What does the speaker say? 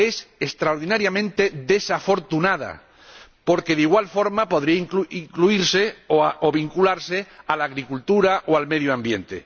es extraordinariamente desafortunada, porque de igual forma podría incluirse o vincularse a la agricultura o al medio ambiente.